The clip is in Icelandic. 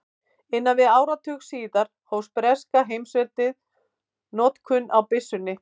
Innan við áratug síðar hóf breska heimsveldið notkun á byssunni.